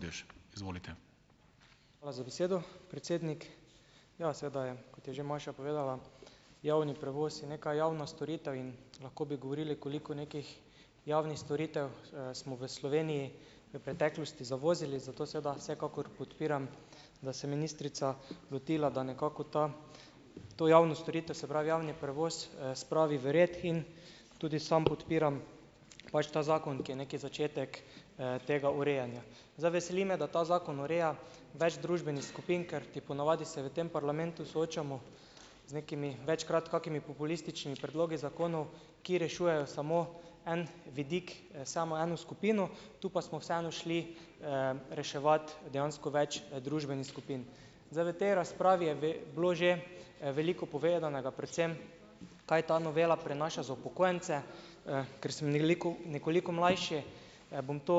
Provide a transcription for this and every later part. Hvala za besedo, predsednik. Ja, seveda je, kot je že Maša povedala, javni prevoz je neka javna storitev in lahko bi govorili, koliko nekih javnih storitev, smo v Sloveniji v preteklosti zavozili. Zato seveda vsekakor podpiram, da se ministrica lotila, da nekako ta, to javno storitev, se pravi javni prevoz, spravi v red in tudi sam podpiram pač ta zakon, ki je neki začetek, tega urejanja. Zdaj, veseli me, da ta zakon ureja več družbenih skupin , ker ti ponavadi se v tem parlamentu soočamo z nekimi večkrat kakimi populističnimi predlogi zakonov , ki rešujejo samo en vidik, samo eno skupino, tu pa smo vseeno šli, reševat dejansko več, družbenih skupin . Zdaj, v te razpravi je bilo že, veliko povedanega, predvsem kaj ta novela prinaša za upokojence, ker sem nekoliko mlajši, bom to,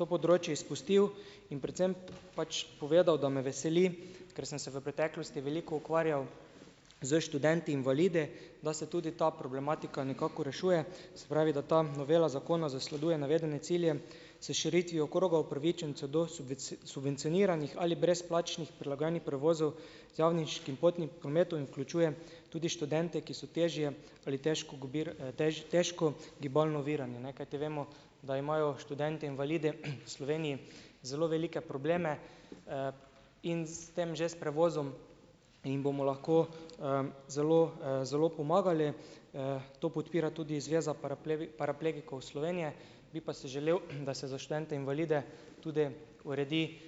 to področje izpustil in predvsem pač povedal, da me veseli, ker sem se v preteklosti veliko ukvarjal s študenti invalidi, da se tudi ta problematika nekako rešuje, se pravi, da ta novela zakona zasleduje navedene cilje s širitvijo kroga upravičencev do subvencioniranih ali brezplačnih prilagajanih prevozov z javniškim potnim prometom in vključuje tudi študente, ki so težje ali težko težko gibalno ovirani, ne, kajti vemo, da imajo študentje invalidi, v Sloveniji zelo velike probleme, in s tem, že s prevozom jim bomo lahko, zelo, zelo pomagali. to podpira tudi Zveza paraplegikov Slovenije, bi pa si želel, da se študente invalide tudi uredi,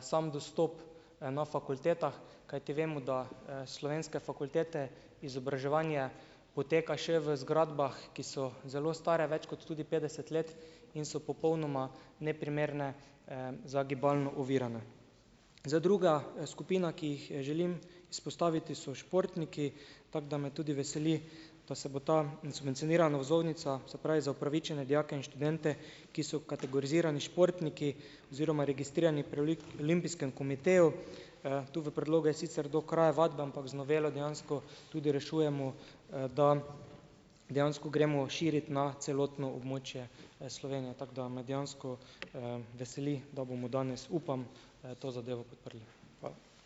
sam dostop, na fakultetah, kajti vemo, da, slovenske fakultete, izobraževanje poteka še v zgradbah, ki so zelo stare, več kot tudi petdeset let, in so popolnoma neprimerne, za gibalno ovirane. Zdaj, druga, skupina, ki jih želim izpostaviti, so športniki, tako, da me tudi veseli, da se bo ta subvencionirana vozovnica, se pravi, za upravičene dijake in študente, ki so kategorizirani športniki oziroma registrirani pri olimpijskem komiteju. tu v predlogu je sicer do kraja vadbe, ampak z novelo dejansko tudi rešujemo, da dejansko gremo širit na celotno območje, Slovenije. Tako, da me dejansko, veseli, da bomo danes, upam, to zadevo podprli. Hvala.